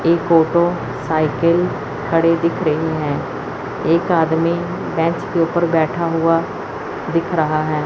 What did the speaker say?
एक auto cycle खड़े दिख रही है। एक आदमी बैंच के ऊपर बैठा हुआ दिख रहा है।